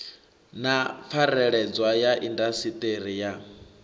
na pfareledzwa ya indasiṱiri ya